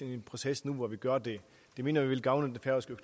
i en proces hvor vi gør det det mener vi vil gavne den færøske